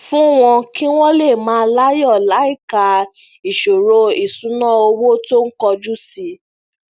fún wọn kí wón lè máa láyò láìka ìṣòro ìṣúnná owó tó ń kojú sí